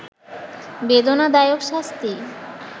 বেদনাদায়ক শাস্তি